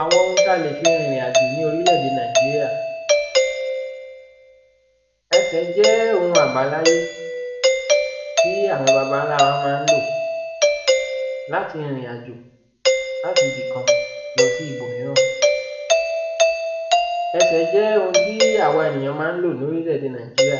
Àwọn oun ta lè fi rìnrìn àjò ní orílẹ̀-èdè Nàìjíríà, ẹsẹ̀ jẹ́ oun àbáláyé, tí àwọn baba ǹlà wa ma ń lò láti rìnrìn àjò láti ibì kan lọsí ibòmíràn, ẹsẹ̀ jẹ́ oun tí à wa ènìyàn ma ń lò ní orílẹ̀-èdè Nàìjíríà,